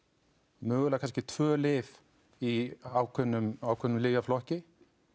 mögulega kannski tvö lyf í ákveðnum ákveðnum lyfjaflokki